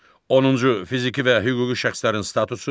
Onuncu fiziki və hüquqi şəxslərin statusu.